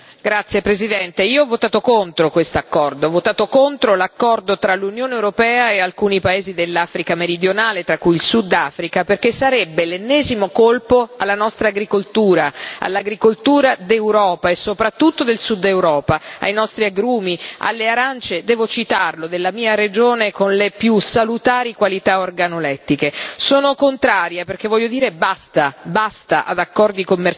Signor Presidente, onorevoli colleghi, io ho votato contro quest'accordo, ho votato contro l'accordo tra l'Unione europea e alcuni paesi dell'Africa meridionale, tra cui il Sud Africa, perché sarebbe l'ennesimo colpo alla nostra agricoltura, all'agricoltura d'Europa, e soprattutto del Sud Europa, ai nostri agrumi, alle arance devo citarlo della mia regione, che hanno le più salutari qualità organolettiche.